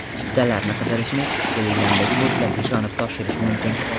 Chiptalarni qidirishni Telegram’dagi botlarga ishonib topshirish mumkin.